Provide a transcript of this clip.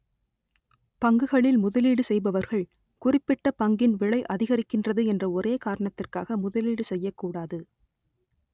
பங்குகளில் முதலீடு செய்பவர்கள் குறிப்பிட்ட பங்கின் விலை அதிகரிக்கின்றது என்ற ஒரே காரணத்திற்காக முதலீடு செய்யக்கூடாது